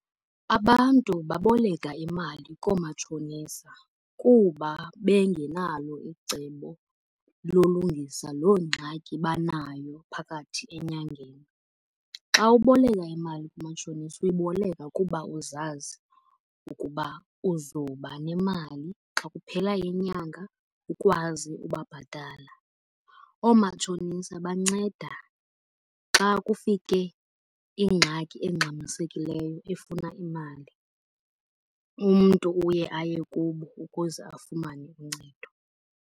Abantu baboleka imali koomatshonisa kuba bengenalo icebo lolungisa loo ngxaki banayo phakathi enyangeni. Xa uboleka imali kumatshonisa uyiboleka kuba uzazi ukuba uzoba nemali xa kuphela inyanga ukwazi ukubabhatala. Oomatshonisa banceda xa kufike ingxaki engxamisekileyo efuna imali. Umntu uye aye kubo ukuze afumane uncedo.